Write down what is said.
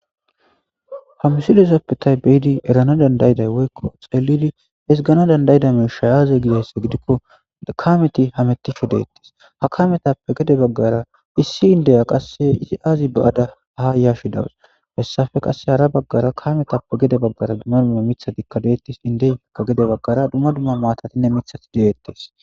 Hamisilosopetay beyidi erana dandayday woykko xelidi esgana dandaydameshay aaze gidaysse gidikko kameti hametisho deettis ha kametappe gede baggara issi indeya qasse isi aazi ba'ada ha yashi dawus fessafe qasse hara baggara kametappe gede baggara dumma dumma mithatikkadeettis indeyakka gede baggara dumma dumma maatatinne mithati dedeettes.